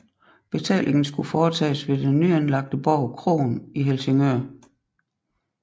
Betalingen skulle foretages ved den nyanlagte borg Krogen i Helsingør